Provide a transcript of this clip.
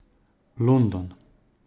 London.